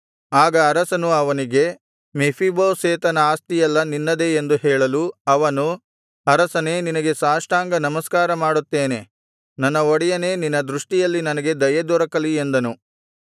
ಆಗ ಅರಸನು ಅವನಿಗೆ ಮೆಫೀಬೋಶೆತನ ಆಸ್ತಿಯೆಲ್ಲಾ ನಿನ್ನದೇ ಎಂದು ಹೇಳಲು ಅವನು ಅರಸನೇ ನಿನಗೆ ಸಾಷ್ಟಾಂಗ ನಮಸ್ಕಾರ ಮಾಡುತ್ತೇನೆ ನನ್ನ ಒಡೆಯನೇ ನಿನ್ನ ದೃಷ್ಟಿಯಲ್ಲಿ ನನಗೆ ದಯೆ ದೊರಕಲಿ ಎಂದನು